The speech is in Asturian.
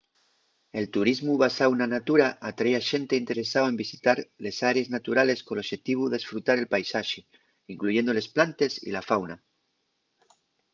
el turismu basáu na natura atrái a xente interesao en visitar les árees naturales col oxetivu d’esfrutar el paisaxe incluyendo les plantes y la fauna